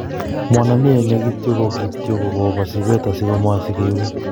Mwanamie ne kityo ko kityo ko kobo sipeta si komoi si kiwek.